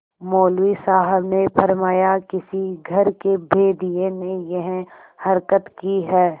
मौलवी साहब ने फरमाया किसी घर के भेदिये ने यह हरकत की है